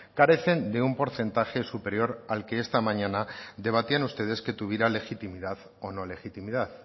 carecen de un porcentaje superior al que esta mañana debatían ustedes que tuviera legitimidad o no legitimidad